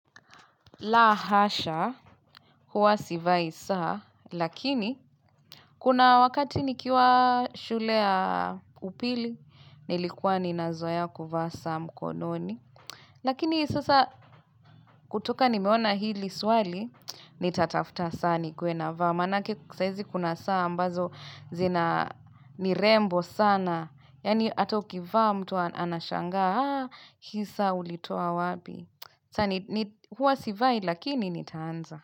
La hasha, huwa sivai saa, lakini kuna wakati nikiwa shule ya upili, nilikuwa ninazoea kuvaa saa mkononi. Lakini sasa kutoka nimeona hili swali, ni tatafuta saa nikuwe navaa. Manake saizi kuna saa ambazo zina nirembo sana, yani ata ukivaa mtu anashanga, haa, hii saa ulitoa wapi. Huwa sivai lakini nitaanza.